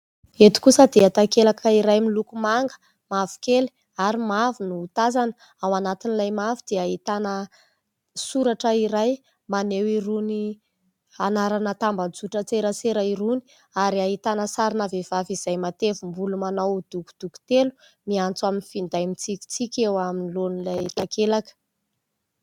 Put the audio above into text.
Eto kosa dia takelaka iray miloko manga ,mavokely ary mavo no tazana, ao anatin'ilay mavo dia ahitana soratra iray maneho irony anarana tambanjotran_tserasera irony . .Ary ahitana sarina vehivavy izay matevim-bolo manao dokodoko telo miantso amin'ny finday mitsikitsiky eo amin'ny lohan'ilay takelaka .